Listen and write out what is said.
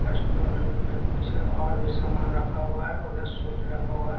Customer में कुछ और भी सामान रखा हुआ है उधर सूट रखा हुआ है।